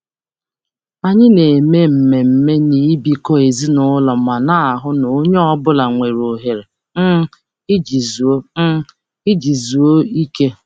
Anyị na-eme mmemme n'ịbụkọ ezinụlọ ma na-ahụ na onye ọ bụla nwere ohere um iji zuo um iji zuo ike.